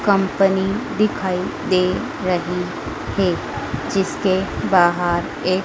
company दिखाई दे रही है जिसके बाहर एक--